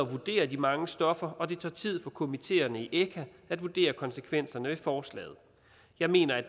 at vurdere de mange stoffer og det tager tid for komiteerne i echa at vurdere konsekvenserne af forslaget jeg mener at